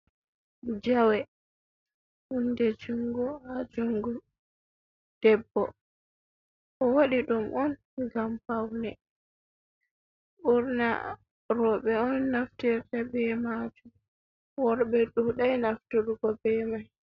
Jawe: Hunde jungo ha jungo debbo. Owaɗi ɗum on ngam paune. Ɓurna roɓe on naftirta be majum. Worɓe ɗuɗai nafturgo be mai.